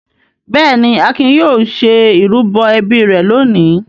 Bẹ́ẹ̀ ni, Akin yóò ṣe ìrúbọ ẹbí rẹ̀ lónìí.